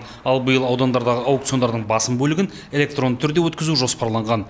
ал биыл аудандардағы аукциондардың басым бөлігін электронды түрде өткізу жоспарланған